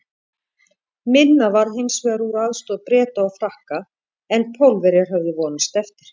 Minna varð hins vegar úr aðstoð Breta og Frakka en Pólverjar höfðu vonast eftir.